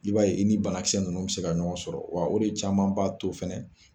I b'a ye i ni banakisɛ ninnu bɛ se ka ɲɔgɔn sɔrɔ wa o de caman b'a to fana